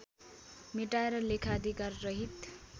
मेटाएर लेखाधिकार रहित